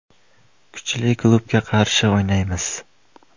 Kuchli klubga qarshi o‘ynaymiz.